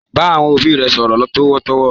Bá àwọn òbí rẹ sọ̀rọ̀ tọ̀wọ̀tọ̀wọ̀!